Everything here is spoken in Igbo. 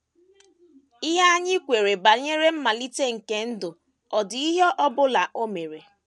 “ Ihe anyị kweere banyere mmalite nke ndụ ọ̀ dị ihe ọ bụla o mere? ”